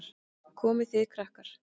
Komið þið, krakkar!